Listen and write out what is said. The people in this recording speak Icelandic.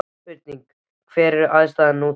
Spurning: Hver er andstæðan við trú?